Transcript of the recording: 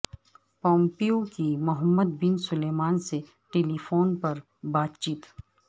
Pompeo کی Mohammed bin Salman سے telephone پر بات چیت